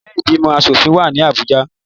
Ilé ìgbìmọ̀ asòfin wà ní Abuja